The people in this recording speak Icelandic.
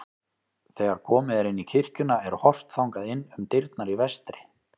Þegar komið er inn í kirkjuna er horft þangað inn um dyrnar í vestri.